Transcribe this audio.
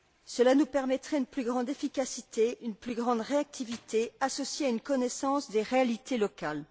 Cela nous permettrait une plus grande efficacité, une plus grande réactivité, associée à une connaissance des réalités locales.